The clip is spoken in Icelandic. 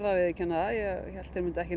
að viðurkenna það að ég hélt þeir myndu ekki